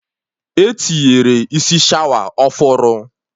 Etinyere isi shawa ọfụrụ